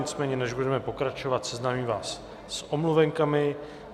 Nicméně než budeme pokračovat, seznámím vás s omluvenkami.